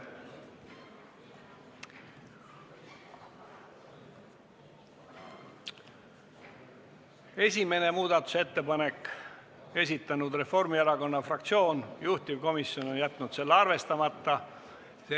Esimene muudatusettepanek, selle on esitanud Reformierakonna fraktsioon, juhtivkomisjon on jätnud arvestamata.